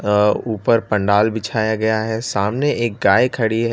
अ ऊपर पंडाल बिछाया गया है। सामने एक गाय खड़ी है।